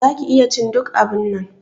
Za ki iya cin duk abunnan.